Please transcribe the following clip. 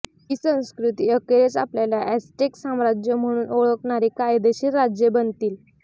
ही संस्कृती अखेरीस आपल्याला अॅझ्टेक साम्राज्य म्हणून ओळखणारी कायदेशीर राज्ये बनतील